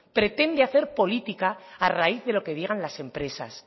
pretende hacer política a raíz de lo que digan las empresas